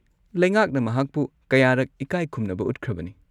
ꯂꯩꯉꯥꯛꯅ ꯃꯍꯥꯛꯄꯨ ꯀꯌꯥꯔꯛ ꯏꯀꯥꯏ ꯈꯨꯝꯅꯕ ꯎꯠꯈ꯭ꯔꯕꯅꯤ꯫